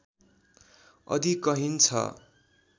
अधिकहीन छ